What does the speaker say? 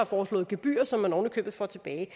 foreslået gebyrer som man oven i købet får tilbage